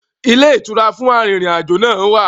Ilé ìtura fún arìnrìn-àjò náà wà.